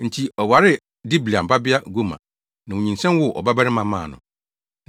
Enti, ɔwaree Diblaim babea Gomer, na onyinsɛn woo ɔbabarima maa no.